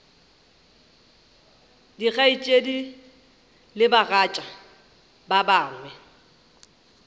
dikgaetšedi le bagatša ba gagwe